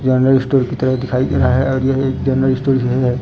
General store की तरह दिखाई दे रहा है और यह एक जनरल स्टोर जो हैं।